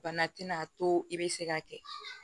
Bana tɛna to i bɛ se ka kɛ